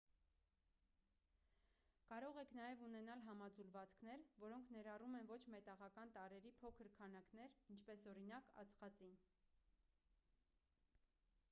կարող եք նաև ունենալ համաձուլվածքներ որոնք ներառում են ոչ մետաղական տարրերի փոքր քանակներ ինչպես օրինակ ածխածին